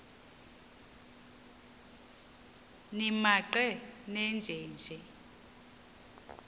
nimaqe nenje nje